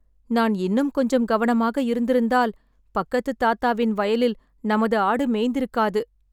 நான் இன்னும் கொஞ்சம் கவனமாக இருந்திருந்தால் பக்கத்து தாத்தாவின் வயலில் நமது ஆடு மேய்ந்திருக்காது